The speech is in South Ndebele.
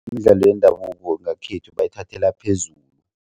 Imidlalo yendabuko ngekhethu bayithathela phezulu.